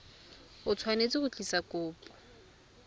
o tshwanetse go tlisa kopo